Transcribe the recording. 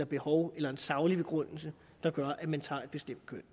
behov eller en saglig begrundelse der gør at man tager et bestemt køn